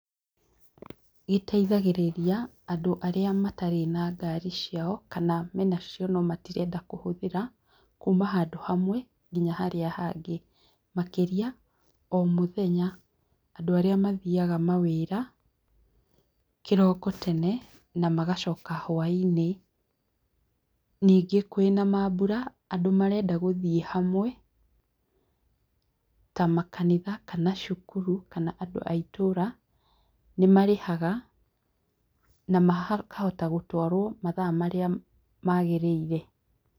Iteithagĩrĩria andũ arĩa matarĩ na ngari ciao, kana me nacio no matirenda kũhũthĩra, kuuma handũ hamwe nginya harĩa hangĩ. Makĩria, o mũthenya andũ arĩa mathiaga mawĩra, kĩroko tene, na magacoka hwaĩ-inĩ. Ningĩ kwĩna mambura, andũ marenda gũthiĩ hamwe ta makanitha, kana cukuru, kana andũ aitũra, nĩ marĩhaga na makahota gũtwarwo mathaa marĩa maagĩrĩire.